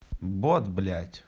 бот блять